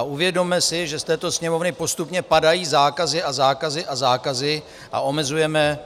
A uvědomme si, že z této Sněmovny postupně padají zákazy a zákazy a zákazy a omezujeme